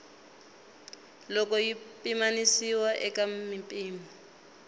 loko yi pimanisiwa eka mimpimo